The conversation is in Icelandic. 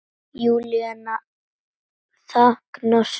Júlía þagnar snöggt.